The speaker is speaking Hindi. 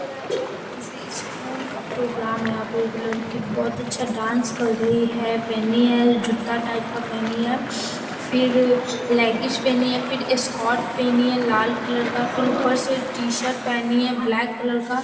किसी स्कूल का प्रोग्राम है यहां पर एक लड़की बहुत अच्छा डांस कर रही है पहनी है जूता टाइप का पहनी है फिर लेगिज पहनी है फिर स्कर्ट पहनी है लाल कलर का फिर ऊपर से शर्ट पहनी है ब्लैक कलर का।